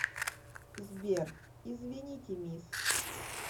сбер извините мисс